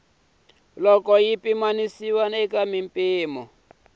loko yi pimanisiwa eka mimpimo